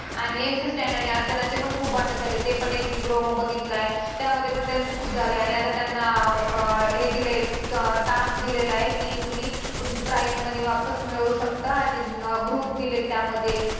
आणि MC. Stan आणि अर्चनाचे पण खूप भांडणं झालेत. ते पण एक मी promo बघितलाय त्यामध्ये पण त्यांचं खूप झालंय आणि आता त्यांना अं अं हे दिलंय task दिलेला आहे की तुम्ही तुमची price money वापस मिळवू शकता आणि group दिलेत त्यामध्ये